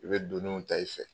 I bɛ doniw ta i fɛ